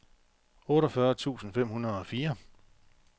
otteogfyrre tusind fem hundrede og fire